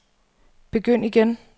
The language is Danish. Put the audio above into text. begynd igen